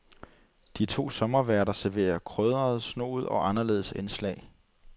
De to sommerværter serverer krydrede, snoede og anderledes indslag .